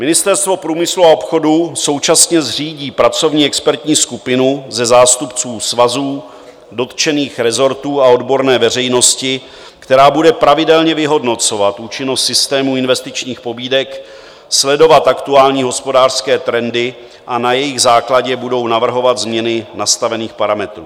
Ministerstvo průmyslu a obchodu současně zřídí pracovní expertní skupinu ze zástupců svazů, dotčených rezortů a odborné veřejnosti, která bude pravidelně vyhodnocovat účinnost systému investičních pobídek, sledovat aktuální hospodářské trendy a na jejich základě budou navrhovat změny nastavených parametrů.